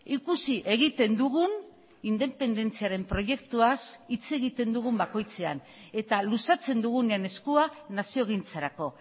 ikusi egiten dugun independentziaren proiektuaz hitz egiten dugun bakoitzean eta luzatzen dugunean eskuan naziogintzarako